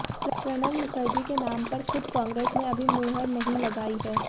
प्रणब मुखर्जी के नाम पर खुद कांग्रेस ने अभी मुहर नहीं लगाई है